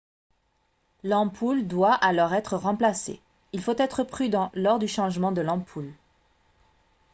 l'ampoule doit alors être remplacée il faut être prudent lors du changement de l'ampoule